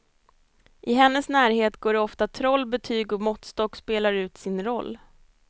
I hennes närhet går det ofta troll, betyg och måttstock spelar ut sin roll.